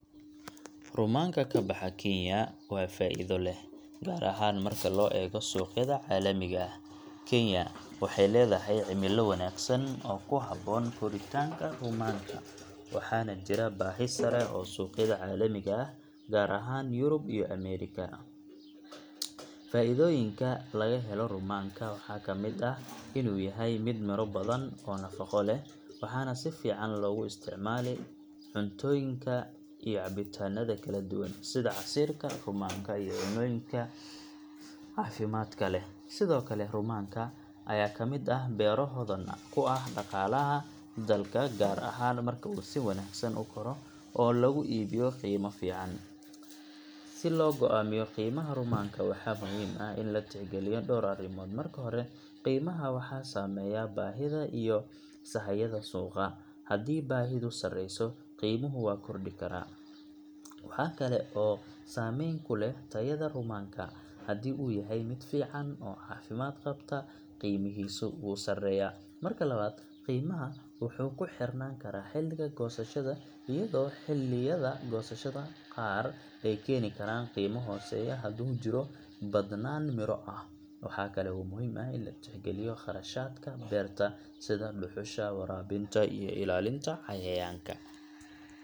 Rumaanka ka baxa Kenya waa faa'iido leh, gaar ahaan marka loo eego suuqyada caalamiga ah. Kenya waxay leedahay cimilo wanaagsan oo ku habboon koritaanka rumaanka, waxaana jira baahi sare oo suuqyada caalamiga ah, gaar ahaan Yurub iyo Ameerika. Faa’iidooyinka laga helo rumaanka waxaa ka mid ah in uu yahay mid miro badan oo nafaqo leh, waxaana si fiican loogu isticmaalaa cuntooyinka iyo cabitaanada kala duwan, sida casiirka rumaanka iyo cunnooyinka caafimaadka leh. Sidoo kale, rumaanka ayaa ka mid ah beero hodan ku ah dhaqaalaha dalka, gaar ahaan marka uu si wanaagsan u koro oo lagu iibiyo qiimo fiican. Si loo go’aamiyo qiimaha rumaanka, waxaa muhiim ah in la tixgeliyo dhowr arrimood. Marka hore, qiimaha waxaa saameeya baahida iyo sahayda suuqa; haddii baahidu sareyso, qiimuhu wuu kordhi karaa. Waxaa kale oo saameyn ku leh tayada rumaanka, haddii uu yahay mid fiican oo caafimaad qabta, qiimihiisu wuu sareeyaa. Marka labaad, qiimaha wuxuu ku xirnaan karaa xilliga goosashada, iyadoo xilliyada goosashada qaar ay keeni karaan qiimo hooseeya haddii uu jiro badnaan miro ah. Waxa kale oo muhiim ah in la tixgeliyo kharashaadka beerta, sida dhuxusha, waraabinta, iyo ilaalinta cayayaanka. Sidaa darteed, rumaanka ka baxa Kenya wuxuu noqon karaa faa'iido leh haddii si wanaagsan loo beero oo loo maareeyo suuqa. Si loo go'aamiyo qiimaha, waxaa lagama maarmaan ah in la falanqeeyo baahida suuqa, tayada rumaanka, iyo kharashaadka beerista.